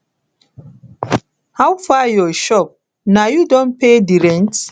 how far your shop na you don pay di rent